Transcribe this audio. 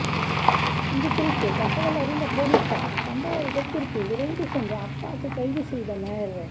இது குறித்து தகவல் அறிந்த போலீசார் சம்பவ இடத்திற்கு விரைந்து சென்று அப்பாஸை கைது செய்தனர்